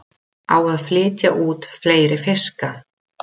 Á að flytja út fleiri fiska